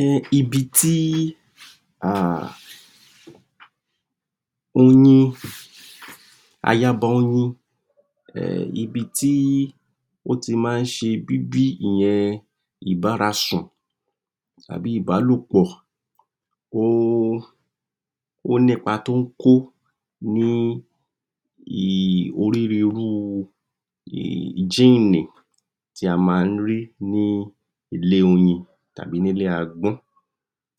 um Ibi tí um oyin aya'ba oyin um ibi tí ó ti máa ń ṣe bíbí ìyẹn ìbára sùn àbí ìbálòpọ̀ um ó ní'pa tó ń kó ní um onírúnrúu um jínnì tí a máa ń rí ní ilé oyin tàbí nílé agbọ́n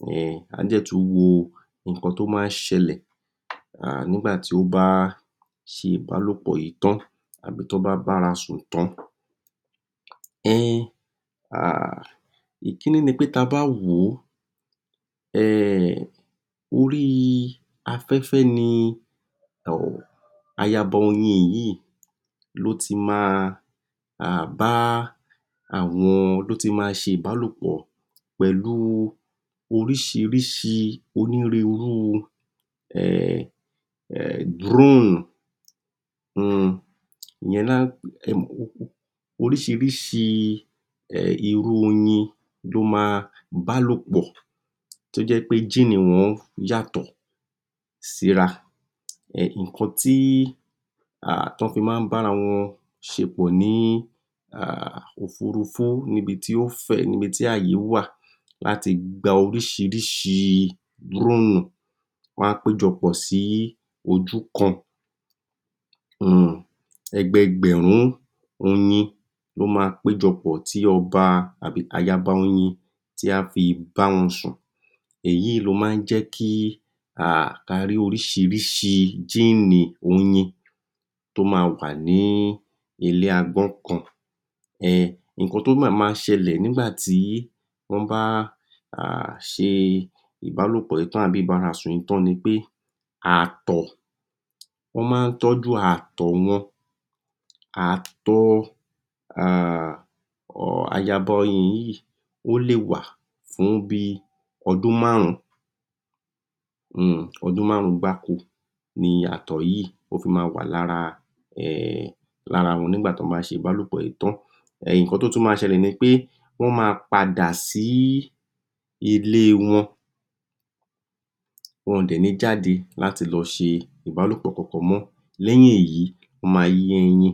um àá dẹ̀ tú wo ǹnkan to máa ń ṣẹlẹ̀ [um nígbà tí ó bá ṣe ìbálòpọ̀ yìí tán àbí tó bá bá'ra sùn tán um um ìkíní ni pé ta bá wòó um orí afẹ́fẹ́ ni um aya'ba oyin yìí ló ti máa um bá àwọn, ló ti ma ṣèbálòpọ̀ pẹ̀lú oríṣiríṣi onírúnrúu um um dúróróònù um ìyẹn lọ́ ń um oríṣiríṣi um irú oyin tó máa bálòpọ̀ tó jẹ́ pé jínnì wọn yàtọ̀ sí'ra um nǹkan tí um tán fi má ń bá ara wọn ṣe pọ̀ ní um òfuurufú níbi tí ó fẹ̀ níbi tí ààyé wà láti gba oríṣiríṣi dúróònù wọ́n á péjọpọ̀ sí ojúkan um ẹgbẹẹgbẹ̀rún oyin ló máa péjọpọ̀ tí ọba àbí aya'ba oyin tí á fi báwọn sùn èyí yìí ló má ń jẹ́ kí um ka rí oríṣiríṣi jínnì oyin tó ma wà ní ilé agbọ́n kan um nǹkan tó mama ṣẹlẹ̀ nígbà tí wọ́n bá um ṣe ìbálòpọ̀ yìí tán àbí ìbárasùn yìí tán ni pé ààtọ̀ wọ́n má ń tọ́jú ààtọ̀ wọn ààtọ um aya'ba oyin yìí, ó lè wà fún bíi ọdún márùn-ún um ọdún márùn-ùn gbáko ni ààtọ̀ yí yìí ó fi ma wà lára um lára wọn nígbà tán bá ṣe ìbálòpọ̀ yìí tán um nǹkan tó tún ma ṣẹlẹ̀ ni pé wọ́n ma padà sí ilée wọn wọn-ọ̀n dẹ̀ ní jáde láti lọ ṣe ìbálòpọ̀ kankan mọ́ lẹ́yìn èyí wọ́n máa yí ẹyin um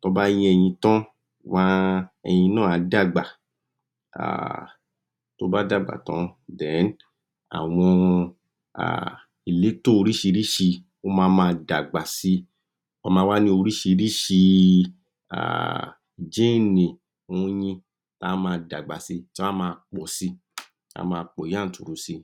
tán bá yẹ́yin tan [wọ́n á] ẹyin náà á dàgbà um tó bá d'àgbà tán, dẹ̀ẹ́ní àwọn um ìlétò oríṣiríṣi ó mama d'àgbà si wọ́n ma wá ní oríṣiríṣi um jínnì oyin tá á máa d'àgbà si, tí wọ́n á máa pọ̀si. á máa pọ̀ yáǹturu sí i